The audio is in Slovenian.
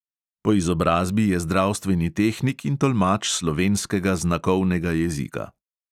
Po izobrazbi je zdravstveni tehnik in tolmač slovenskega znakovnega jezika.